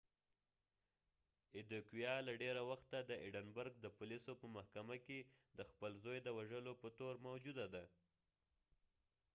ایدیکویا له ډیره وخته د ایډنبرګ د پولیسو په محکمه کې د خپل ځوی د وژلو په تور موجوده ده